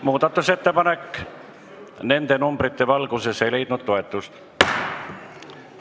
Muudatusettepanek ei leidnud toetust.